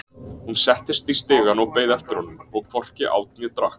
Hún settist í stigann og beið eftir honum,- og hvorki át né drakk.